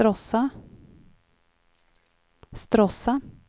Stråssa